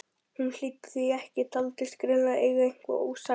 Hún hlýddi því ekki, taldi sig greinilega eiga eitthvað ósagt.